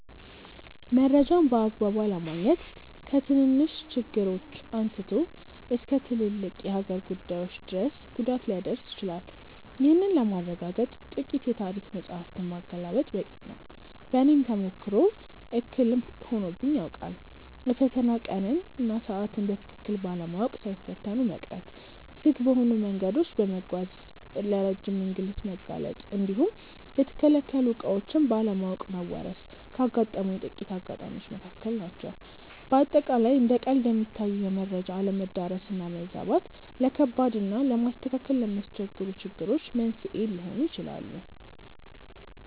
መረጃን በአግባቡ አለማግኘት ከትንንሽ ችግሮች አንስቶ እስከ ትልልቅ የሀገር ጉዳዮች ድረስ ጉዳት ሊያደርስ ይችላል። ይህንን ለማረጋገጥ ጥቂት የታሪክ መጻሕፍትን ማገላበጥ በቂ ነው። በእኔም ተሞክሮ እክል ሆኖብኝ ያውቃል። የፈተና ቀንን እና ሰዓትን በትክክል ባለማወቅ ሳይፈተኑ መቅረት፣ ዝግ በሆኑ መንገዶች በመጓዝ ለረጅም እንግልት መጋለጥ እንዲሁም የተከለከሉ ዕቃዎችን ባለማወቅ መወረስ ካጋጠሙኝ ጥቂት አጋጣሚዎች መካከል ናቸው። በአጠቃላይ እንደ ቀልድ የሚታዩ የመረጃ አለመዳረስ እና መዛባት፣ ለከባድ እና ለማስተካከል ለሚያስቸግሩ ችግሮች መንስኤ ሊሆኑ ይችላሉ።